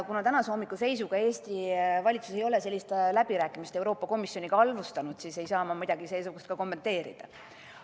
Kuna tänase hommiku seisuga ei ole Eesti valitsus sellist läbirääkimist Euroopa Komisjoniga alustanud, siis ei saa ma midagi seesugust ka kommenteerida.